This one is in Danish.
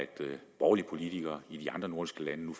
borgerlige politikere i de andre nordiske lande